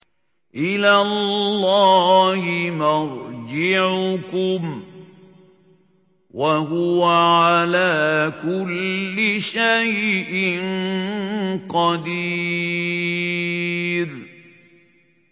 إِلَى اللَّهِ مَرْجِعُكُمْ ۖ وَهُوَ عَلَىٰ كُلِّ شَيْءٍ قَدِيرٌ